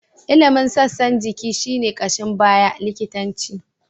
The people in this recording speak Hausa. Ilimin sassan jiki shi ne ƙashin baya likitanci.